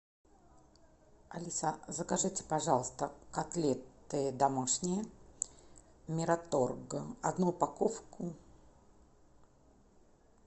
алиса закажите пожалуйста котлеты домашние мираторг одну упаковку